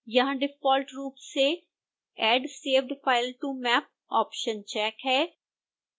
यहां डिफॉल्ट रूप से add saved file to map option check है